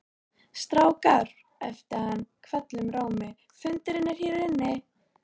Strákar æpti hann hvellum rómi, fundurinn er hér inni